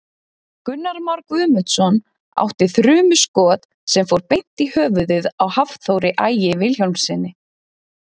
Gunnar Már Guðmundsson átti þrumuskot sem fór beint í höfuðið á Hafþóri Ægi Vilhjálmssyni.